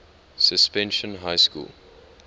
suspension high school